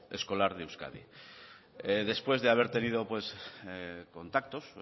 escolar de euskadi después de haber tenido contactos